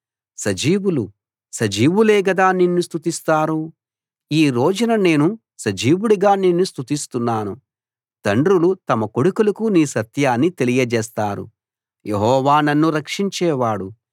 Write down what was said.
సజీవులు సజీవులే గదా నిన్ను స్తుతిస్తారు ఈ రోజున నేను సజీవుడిగా నిన్ను స్తుతిస్తున్నాను తండ్రులు తమ కొడుకులకు నీ సత్యాన్ని తెలియజేస్తారు యెహోవా నన్ను రక్షించేవాడు